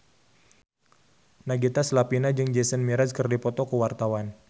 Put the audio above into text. Nagita Slavina jeung Jason Mraz keur dipoto ku wartawan